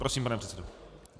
Prosím, pane předsedo.